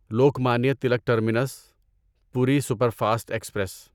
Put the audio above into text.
Lokmanya Tilak terminus Puri superfast express